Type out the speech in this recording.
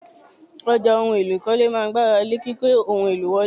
Ọjà ohun èlò ìkọ́lé máa ń gbé ara lé kíkó ohun èlò wọlé.